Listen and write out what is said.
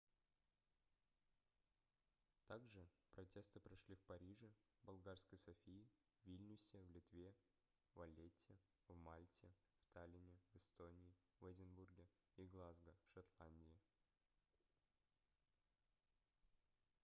также протесты прошли в париже в болгарской софии в вильнюсе в литве в валлетте в мальте в таллине в эстонии в эдинбурге и глазго в шотландии